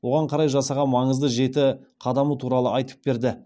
оған қарай жасаған маңызды жеті қадамы туралы айтып берді